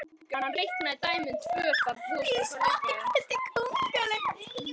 Hafsteinn Hauksson: Og ætlið þið síðan í háskóla þegar þið verðið stærri?